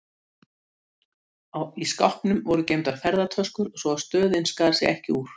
Baróninn þyrfti aðeins að geta sett fram nægar sannanir og tryggingar fyrir fjármunum sínum erlendis.